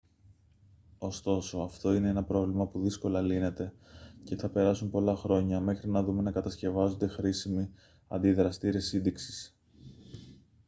ωστόσο αυτό είναι ένα πρόβλημα που δύσκολα λύνεται και θα περάσουν πολλά χρόνια μέχρι να δούμε να κατασκευάζονται χρήσιμοι αντιδραστήρες σύντηξης